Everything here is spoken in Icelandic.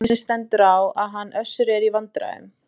Þannig stendur á að hann Össur er í vandræðum.